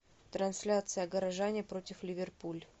трансляция горожане против ливерпуль